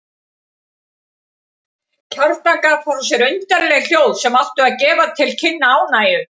Kjartan gaf frá sér undarleg hljóð sem áttu að gefa til kynna ánægju.